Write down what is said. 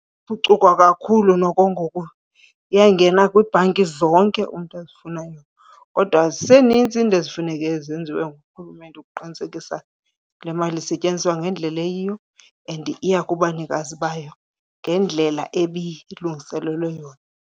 kakhulu noko ngoku, iyangena kwiibhanki zonke umntu azifunayo. Kodwa ziseninzi iinto ezifuneke zenziwe ngurhulumente ukuqinisekisa le mali isetyenziswa ngendlela eyiyo and iya kubanikazi bayo ngendlela ebilungiselelwe yona.